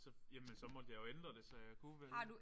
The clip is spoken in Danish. Så jamen så måtte jeg jo ændre det så jeg kunne vælge